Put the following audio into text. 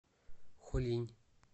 хулинь